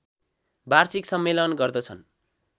वार्षिक सम्मेलन गर्दछन्